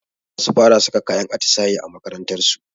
Zasu fara saka kayan atisaye a makarantarsu